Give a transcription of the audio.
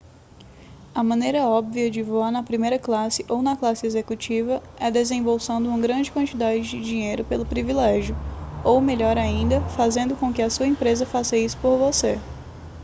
a maneira óbvia de voar na primeira classe ou na classe executiva é desembolsando uma grande quantidade de dinheiro pelo privilégio ou melhor ainda fazendo com que a sua empresa faça isso por você